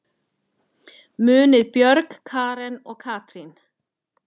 Munið Björg, Karen og Katrín.